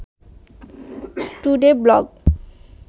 today blog